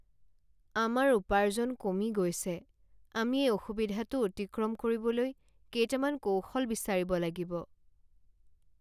আমাৰ উপাৰ্জন কমি গৈছে! আমি এই অসুবিধাটো অতিক্ৰম কৰিবলৈ কেইটামান কৌশল বিচাৰিব লাগিব।